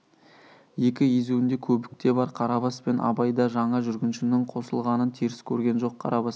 екі езуінде көбік те бар қарабас пен абай да жаңа жүргіншінің қосылғанын теріс көрген жоқ қарабас